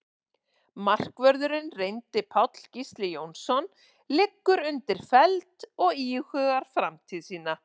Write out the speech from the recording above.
Markvörðurinn reyndi Páll Gísli Jónsson liggur undir feld og íhugar framtíð sína.